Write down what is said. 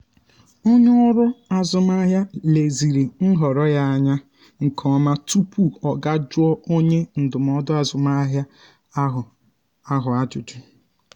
onye ọrụ azụmahịa leziri nhọrọ ya anya nke ọma tupu ọ ga jụọ onye ndụmọdụ azụmahịa ahụ ahụ ajụjụ.